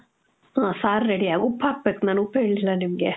ಆ, sir ready. ಉಪ್ಪು ಹಾಕ್ಬೇಕು. ನಾನ್ ಉಪ್ಪು ಹೇಳ್ಲಿಲ್ಲ ನಿಮ್ಗೆ.